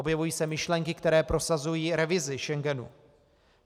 Objevují se myšlenky, které prosazují revizi Schengenu.